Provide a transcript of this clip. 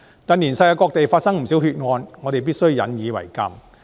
近年世界各地發生不少血案，我們必須引以為鑒。